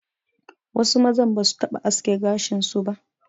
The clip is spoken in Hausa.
Wasu mazan ba zasu taɓa aske gashin su ba.